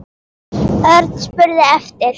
Örn spurði eftir